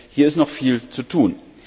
Hier ist noch viel zu tun!